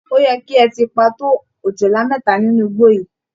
Ó yẹ kí ẹ ti pa tó ọ̀jọ̀lá méta nínú igbó yìí!